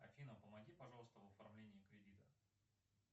афина помоги пожалуйста в оформлении кредита